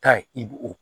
Taa ye i b'o o